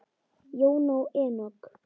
Jóna og Enok.